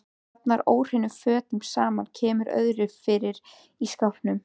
Safnar óhreinum fötum saman, kemur öðru fyrir í skápum.